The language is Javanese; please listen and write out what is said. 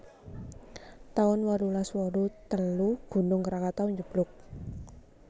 taun wolulas wolu telu Gunung Krakatu njeblug